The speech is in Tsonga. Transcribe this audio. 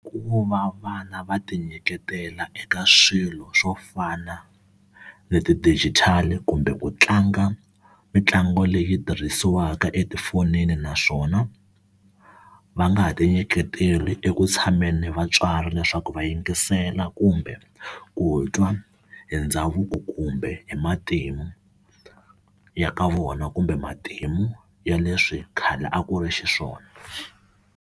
Ku va vana va ti nyiketela eka swilo swo fana ni ti-digital kumbe ku tlanga mitlangu leyi tirhisiwaka etifonini naswona va nga ha ti nyiketeli eku tshameni ni vatswari leswaku va yingisela kumbe ku twa hi ndhavuko kumbe hi matimu ya ka vona kumbe matimu ya leswi khale a ku ri xiswona.